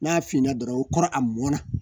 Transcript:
N'a finna dɔrɔn o kɔrɔ a mɔna